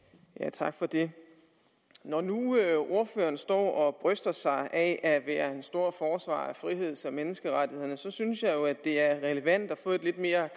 tak for det når nu ordføreren står bryster sig af at være en stor forsvarer af friheds og menneskerettighederne synes jeg jo at det er relevant at få et lidt mere